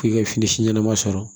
K'i ka fini si ɲɛnama sɔrɔ